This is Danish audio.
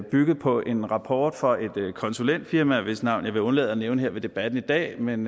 byggede på en rapport fra et konsulentfirma hvis navn jeg vil undlade at nævne ved debatten i dag men